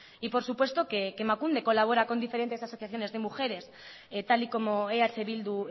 y por supuesto que emakunde colabora con diferentes asociaciones de mujeres tal y como eh bildu